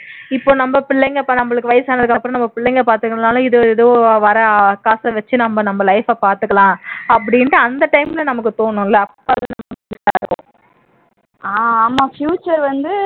இப்ப நம்ம பிள்ளைங்க நமக்கு வயசானதுக்கு அப்புறம் நம்மா பிள்ளைங்க பாத்துக்கனும்னாலும் இது எதோ வர்ற காசை வச்சு நம்ம நம்ம life ஐ பாத்துக்கலாம் அப்படின்னுட்டு அந்த time ல நமக்கு தோணும் இல்ல அப்போ